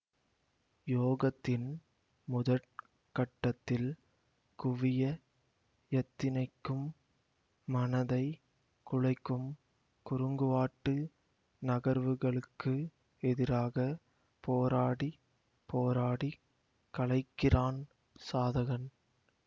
யோகத்தின் முதற் கட்டத்தில் குவிய யத்தனிக்கும் மனதை குலைக்கும் குறுங்குவாட்டு நகர்வுகளுக்கு எதிராக போராடி போராடிக் களைக்கிறான் சாதகன்